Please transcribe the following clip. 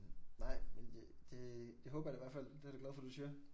Nej men øh det det håber jeg da hvert fald det jeg da glad for du siger